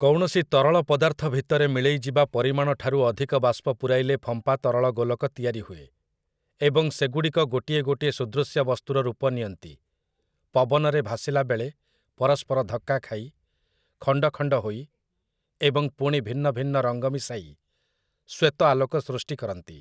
କୌଣସି ତରଳ ପଦାର୍ଥ ଭିତରେ ମିଳେଇଯିବା ପରିମାଣଠାରୁ ଅଧିକ ବାଷ୍ପ ପୂରାଇଲେ ଫମ୍ପା ତରଳ ଗୋଲକ ତିଆରି ହୁଏ, ଏବଂ ସେଗୁଡ଼ିକ ଗୋଟିଏ ଗୋଟିଏ ସୁଦୃଶ୍ୟ ବସ୍ତୁର ରୂପ ନିଅନ୍ତି, ପବନରେ ଭାସିଲା ବେଳେ ପରସ୍ପର ଧକ୍କା ଖାଇ, ଖଣ୍ଡଖଣ୍ଡ ହୋଇ, ଏବଂ ପୁଣି ଭିନ୍ନଭିନ୍ନ ରଙ୍ଗ ମିଶାଇ ଶ୍ଵେତ ଆଲୋକ ସୃଷ୍ଟି କରନ୍ତି ।